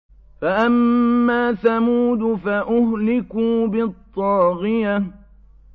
فَأَمَّا ثَمُودُ فَأُهْلِكُوا بِالطَّاغِيَةِ